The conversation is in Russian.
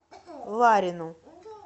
ларину